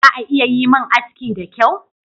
Za a iya yi min aski da kyau?